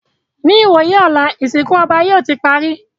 Ní ìwòyí ọ̀la, ìsìnkú ọba yóò ti parí